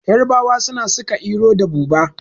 Yarabawa suna saka iro da buba